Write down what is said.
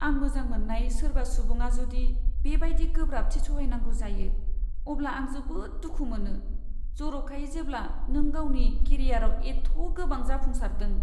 आं मोजां मोन्नाय सोरबा सुबुङा जुदि बेबायदि गोब्राबथि सहायनांगौ जायो, अब्ला आं जोबोद दुखु मोनो जरखायै जेब्ला नों गावनि केरियाराव एथ' गोबां जाफुंसारदों।